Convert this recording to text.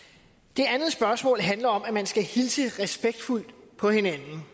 det andet spørgsmål handler om at man skal hilse respektfuldt på hinanden